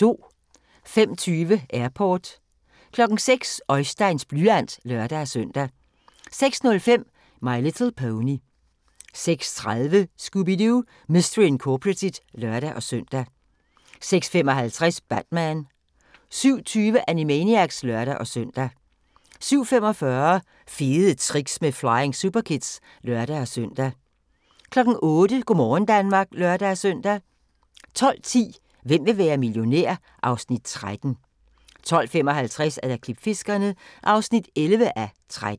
05:20: Airport 06:00: Oisteins blyant (lør-søn) 06:05: My Little Pony 06:30: Scooby-Doo! Mystery Incorporated (lør-søn) 06:55: Batman 07:20: Animaniacs (lør-søn) 07:45: Fede Tricks med Flying Superkids (lør-søn) 08:00: Go' morgen Danmark (lør-søn) 12:10: Hvem vil være millionær? (Afs. 13) 12:55: Klipfiskerne (11:13)